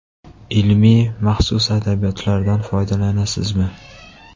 Ilmiy, maxsus adabiyotlardan foydalanasizmi?